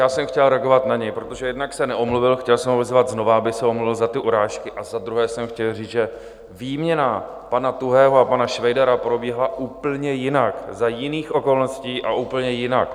Já jsem chtěl reagovat na něj, protože jednak se neomluvil, chtěl jsem ho vyzvat znovu, aby se omluvil za ty urážky, a za druhé jsem chtěl říct, že výměna pana Tuhého a pana Švejdara proběhla úplně jinak, za jiných okolností a úplně jinak.